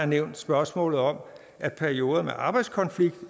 nævnt spørgsmålet om at perioder med arbejdskonflikt